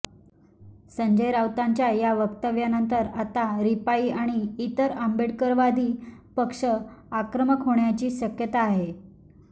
संजय राऊतांच्या या वक्तव्यानंतर आता रिपाई आणि इतर आंबेडकरवादी पक्ष आक्रमक होण्याची शक्यता आहे